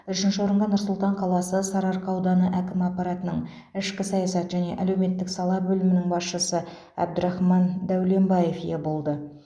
үшінші орынға нұр сұлтан қаласы сарыарқа ауданы әкімі аппаратының ішкі саясат және әлеуметтік сала бөлімінің басшысы әбдірахман дәуленбаев ие болды